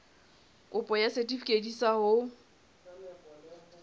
kopo ya setefikeiti sa ho